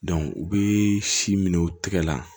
u bɛ si minɛ u tɛgɛ la